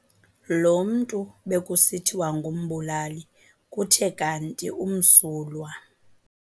Lo mntu bekusithiwa ngumbulali kuthe kanti umsulwa.